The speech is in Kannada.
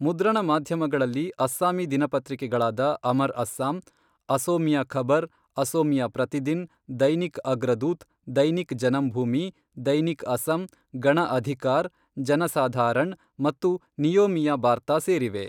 ಮುದ್ರಣ ಮಾಧ್ಯಮಗಳಲ್ಲಿ ಅಸ್ಸಾಮಿ ದಿನಪತ್ರಿಕೆಳಾದ ಅಮರ್ ಅಸ್ಸಾಂ, ಅಸೋಮಿಯಾ ಖಬರ್, ಅಸೋಮಿಯಾ ಪ್ರತಿದಿನ್, ದೈನಿಕ್ ಅಗ್ರದೂತ್, ದೈನಿಕ್ ಜನಂಭೂಮಿ, ದೈನಿಕ್ ಅಸಮ್, ಗಣ ಅಧಿಕಾರ್, ಜನಸಾಧಾರಣ್ ಮತ್ತು ನಿಯೋಮಿಯಾ ಬಾರ್ತಾ ಸೇರಿವೆ.